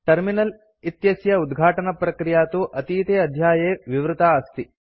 terminal इत्यस्य उद्घाटनप्रक्रिया तु अतीते अध्याये विवृता अस्ति